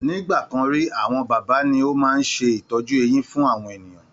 Ní ìgbàkan rí, àwọn bábà ni ó máa ń ṣe ìtọ́jú eyin fún àwọn ènìyàn